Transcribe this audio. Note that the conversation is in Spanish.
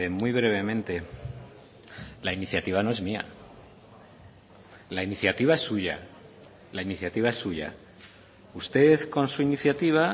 muy brevemente la iniciativa no es mía la iniciativa es suya la iniciativa es suya usted con su iniciativa